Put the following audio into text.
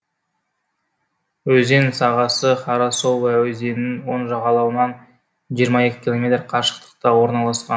өзен сағасы харасовая өзенінің оң жағалауынан жиырма екі километр қашықтықта орналасқан